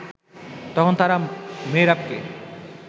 তখন তারা মেহেরাবকে